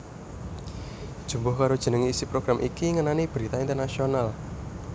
Jumbuh karo jenenge isi program iki ngenani berita internasional